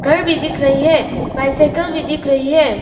घर भी दिख रही है बाइसाइकिल भी दिख रही है।